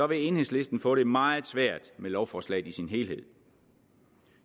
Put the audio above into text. vil enhedslisten få det meget svært med lovforslaget i sin helhed